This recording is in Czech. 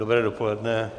Dobré dopoledne.